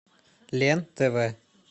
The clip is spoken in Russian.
лен тв